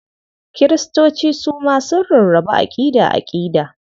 Kiristoci su ma sun rarrabu aƙida-aƙida.